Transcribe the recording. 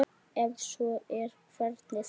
Ef svo er, hvernig þá?